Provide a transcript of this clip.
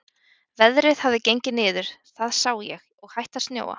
Veðrið hafði gengið niður, það sá ég, og hætt að snjóa.